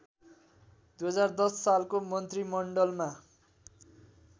२०१० सालको मन्त्रीमण्डलमा